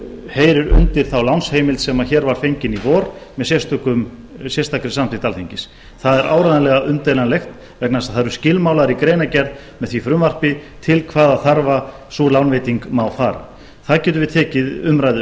heyrir undir þá lánsheimild sem hér var fengin í vor með sérstakri samþykkt alþingis það er áreiðanlega umdeilanlegt vegna þess að það eru skilmálar í greinargerð með því frumvarpi til hvaða þarfa sú lánveiting má fara það getum við tekið umræðu